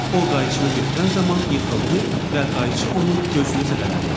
O qayçını götürən zaman yıxıldı və qayçı onun gözünü zədələdi.